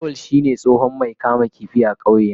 Lawal shine tsohon Mai kamun kifi a kauyena.